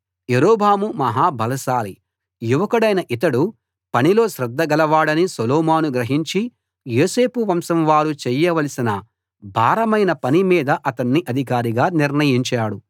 యరొబాము మహా బలశాలి యువకుడైన ఇతడు పనిలో శ్రద్ధ గలవాడని సొలొమోను గ్రహించి యోసేపు వంశం వారు చేయవలసిన భారమైన పని మీద అతన్ని అధికారిగా నిర్ణయించాడు